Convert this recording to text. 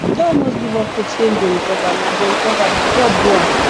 we don almost give up hope say he go recover na go recover na god do am